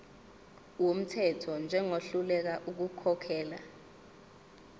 wumthetho njengohluleka ukukhokhela